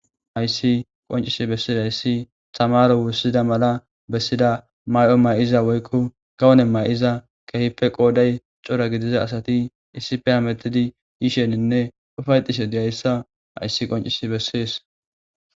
Hayssi qonccis bessizayssi tamaaro wurssida mala bessida mayo mayza woykko gawone mayiza keehippe qooday cora gidiza asati issippe hamettizaysanne yishe dizaysa bessees.